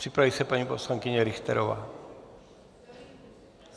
Připraví se paní poslankyně Richterová.